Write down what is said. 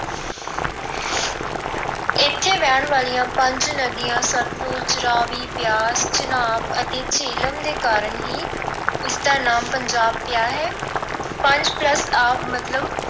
ਇੱਥੇ ਵਹਿਣ ਵਾਲਿਆਂ ਪੰਜ ਨਦੀਆਂ, ਸਤਲੁਜ, ਰਾਵੀ, ਬਿਆਸ, ਚਨਾਬ ਅਤੇ ਜੇਹਲਮ ਦੇ ਕਾਰਨ ਹੀ ਇਸਦਾ ਨਾਮ ਪੰਜਾਬ ਪਿਆ ਹੈ। ਪੰਜ plus ਆਬ ਮਤਲਬ।